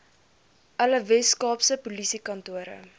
alle weskaapse polisiekantore